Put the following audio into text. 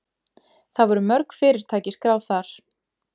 Það voru mörg fyrirtæki skráð þar